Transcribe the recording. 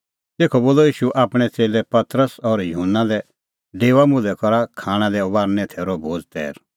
तेखअ बोलअ ईशू आपणैं च़ेल्लै पतरस और युहन्ना लै डेओआ मुल्है करा खाणां लै फसहे थैरो भोज़ तैर